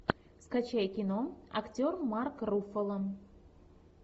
скачай кино актер марк руффало